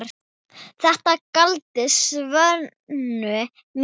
Þetta gladdi Svönu mikið.